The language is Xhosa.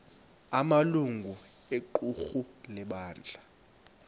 amalungu equmrhu lebandla